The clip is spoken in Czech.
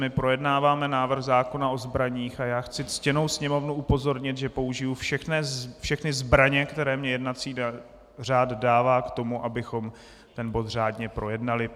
My projednáváme návrh zákona o zbraních a já chci ctěnou Sněmovnu upozornit, že použiji všechny zbraně, které mi jednací řád dává k tomu, abychom ten bod řádně projednali.